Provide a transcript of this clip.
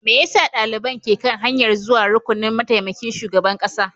Me yasa daliban ke kan hanyar zuwa rukunin mataimakin shugaban kasa?